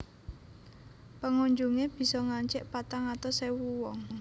Pengunjungé bisa ngancik patang atus ewu wong